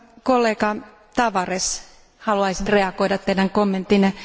Kollega Tavares, haluaisin reagoida teidän kommenttiinne.